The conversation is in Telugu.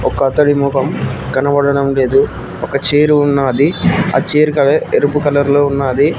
ఒకతడి మొఖం కనబడడం లేదు ఒక చైరు ఉన్నది ఆ చైర్ కలర్ ఎరుపు కలర్ లో ఉన్నది.